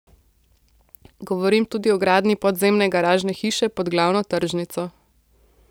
Govorim tudi o gradnji podzemne garažne hiše pod glavno tržnico.